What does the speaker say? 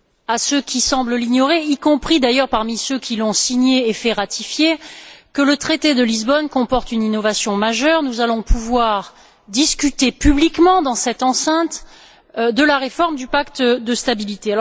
à ceux qui semblent l'ignorer y compris d'ailleurs parmi ceux qui l'ont signé et fait ratifier que le traité de Lisbonne comporte une innovation majeure nous allons pouvoir discuter publiquement dans cette enceinte de la réforme du pacte de stabilité.